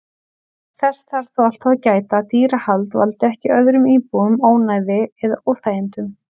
Þess þarf þó alltaf að gæta að dýrahald valdi ekki öðrum íbúum ónæði eða óþægindum.